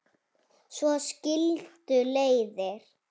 Svo skildu leiðir.